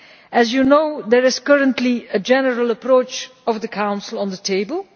As you know, there is currently a general approach of the Council on the table.